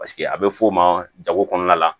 Paseke a bɛ f'o ma jago kɔnɔna la